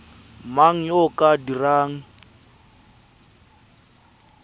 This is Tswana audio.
mang yo o ka dirang